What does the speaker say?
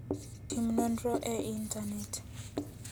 Tim nonro e Intanet.